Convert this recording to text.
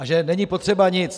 A že není potřeba nic.